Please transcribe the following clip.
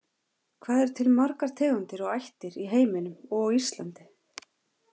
Hvað eru til margar tegundir og ættir í heiminum og á Íslandi?